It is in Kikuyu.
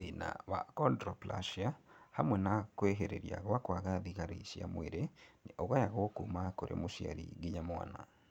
Thĩna wa Achondroplasia hamwe na kwĩhĩrĩria gwa kwaga thigari cia mwĩrĩ nĩ ũgayagwo kuma kũrĩ mũciari nginya mwana